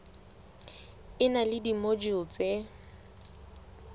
e na le dimojule tse